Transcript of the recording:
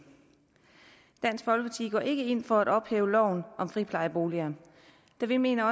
dansk folkeparti går ikke ind for at ophæve loven om friplejeboliger da vi mener